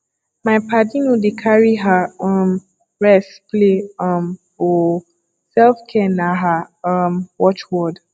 my paddy no dey carry her um rest play um o selfcare na her um watch word